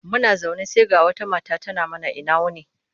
Muna zaune sai ga wata mata tana mana ina wuni.